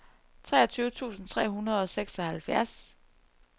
treogtyve tusind tre hundrede og seksoghalvfjerds